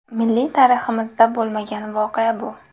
Milliy tariximizda bo‘lmagan voqea bu!